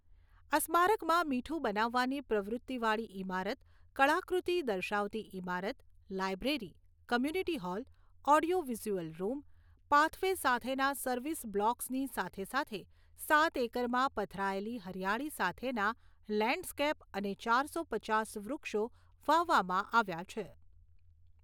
આ સ્મારકમાં મીઠું બનાવવાની પ્રવૃત્તિવાળી ઇમારત, કળાકૃતિ દર્શાવતી ઇમારત, library, community hall, audio visual room, pathway સાથેના સર્વિસ બ્લોકસની સાથે સાથે સાત એકરમાં પથરાયેલી હરિયાળી સાથેના લેન્ડસ્કેપ અને ચારસો પચાસ વૃક્ષો વાવવામાં આવ્યા છે.